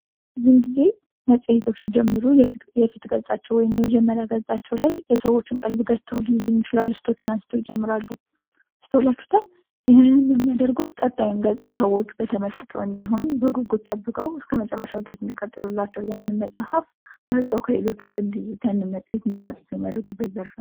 ብዙ ጊዜ መፅሄቶች ሲጀምሩ የፊት ገፃቸው ወይም የመጀመሪያ ገፃቸው ላይ የሰዎችን ቀልብ ገዝተው ሊይዙ የሚችሉ አርዕስቶችን አንስተው ይጀምራሉ። አስተውላችሁታል? ይህንንም የሚያደርጉት ቀጣዩን ገፅ ስዎች በተመስጦ እንዲሆኑ በጉጉት ጠብቀው እስከ መጨረሻው እንዲቀጥሉላቸው ያንን መፅሀፍ መርጠው ከሌሎች ውስጥ እንዲይዙላቸው ያንን መፅሄት እንዲመርጡት የሚያደርጉት ነው።